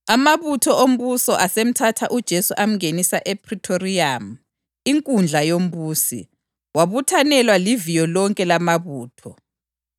Amabutho ombusi asemthatha uJesu amngenisa ePhritoriyamu, inkundla yombusi, wabuthanelwa liviyo lonke lamabutho.